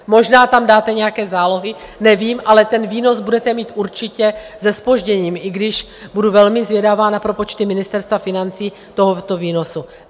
Možná tam dáte nějaké zálohy, nevím, ale ten výnos budete mít určitě se zpožděním, i když budu velmi zvědavá na propočty Ministerstva financí tohoto výnosu.